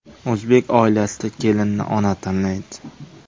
O‘zbek oilasida kelinni ona tanlaydi.